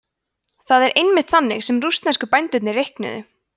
það er einmitt þannig sem rússnesku bændurnir reiknuðu